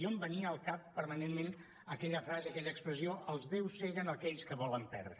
em venia al cap permanentment aquella frase aquella expressió els déus ceguen aquells que volen perdre